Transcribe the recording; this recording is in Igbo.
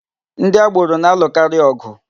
Ndị agboro na-alụkarị ọ̀gụ̀.